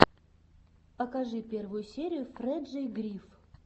покажи первую серию фрэджей гриф